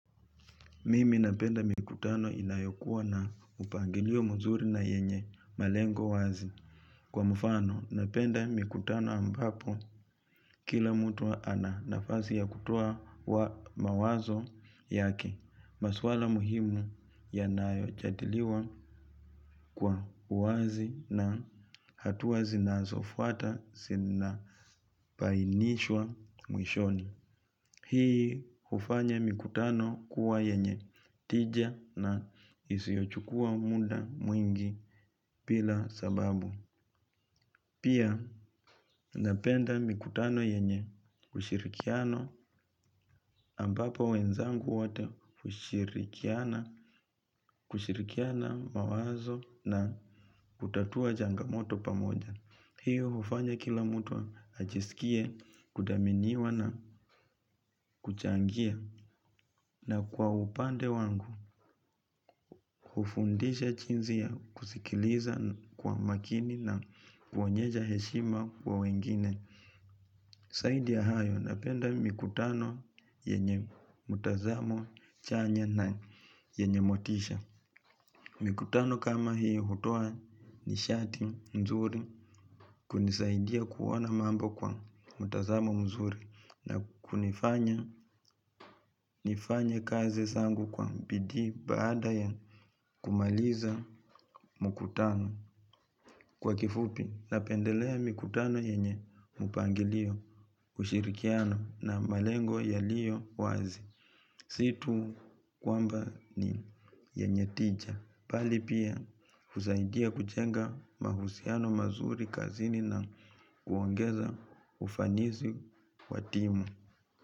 Mimi napenda mikutano inayokuwa na upangilio mzuri na yenye malengo wazi. Kwa mfano, napenda mikutano ambapo kila mtu ana nafasi ya kutoa mawazo yake. Maswala muhimu yanajadiliwa kwa uwazi, na hatua zinazofuata zinabainishwa mwishoni. Hii hufanya mikutano kuwa yenye tija na isiyochukua muda mwingi bila sababu. Pia napenda mikutano yenye ushirikiano, ambapo wenzangu wote hushirikiana mawazo na kutatua changamoto pamoja. Hiyo hufanya kila mtu ajisikie huru kuchangia. Na kwa upande wangu, hufundisha jinsi kusikiliza kwa makini na kuonyesha heshima kwa wengine. Zaidi ya hayo, napenda mikutano yenye mtazamo chanya na yenye motisha. Mikutano kama hiyo hutoa nishati nzuri, kunisaidia kuona mambo kwa mtazamo mzuri, na kunifanya nifanye kazi zangu kwa bidii baada ya kumaliza mkutano. Kwa kifupi, napendelea mikutano yenye mpangilio, ushirikiano, na malengo yaliyo wazi. Si tu kwamba ni yenye tija, bali pia husaidia kujenga mahusiano mazuri kazini na kuongeza ufanisi wa timu.